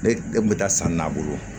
Ne e kun bɛ taa san n'a bolo